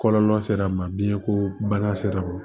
Kɔlɔlɔ sera a ma biɲɛko bana sera